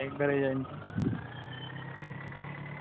હાં, થકી જવાય ઘરે જઈને તો.